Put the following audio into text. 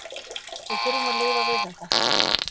Við þurfum að lifa við þetta.